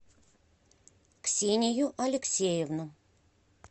ксению алексеевну